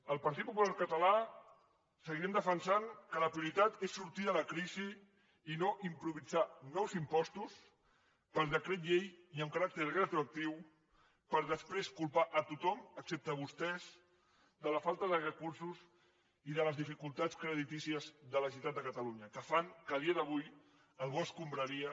el partit popular català seguirem defensant que la prioritat és sortir de la crisi i no improvisar nous impostos per decret llei i amb caràcter retroactiu per després culpar tothom excepte vostès de la falta de recursos i de les dificultats creditícies de la generalitat de catalunya que fan que a dia d’avui el bo escombraria